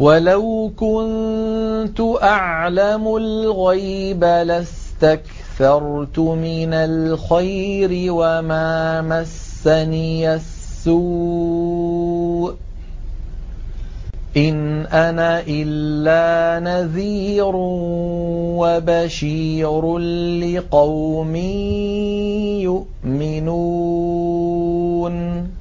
وَلَوْ كُنتُ أَعْلَمُ الْغَيْبَ لَاسْتَكْثَرْتُ مِنَ الْخَيْرِ وَمَا مَسَّنِيَ السُّوءُ ۚ إِنْ أَنَا إِلَّا نَذِيرٌ وَبَشِيرٌ لِّقَوْمٍ يُؤْمِنُونَ